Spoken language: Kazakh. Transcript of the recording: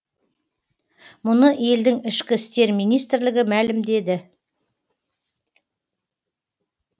мұны елдің ішкі істер министрлігі мәлімдеді